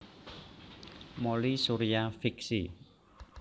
Mouly Surya fiksi